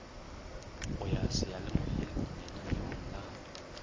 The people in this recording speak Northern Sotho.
go ya seyalemoyeng lananeong la